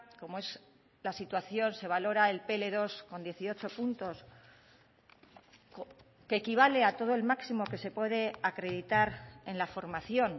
como es la situación se valora el pe ele dos con dieciocho puntos que equivale a todo el máximo que se puede acreditar en la formación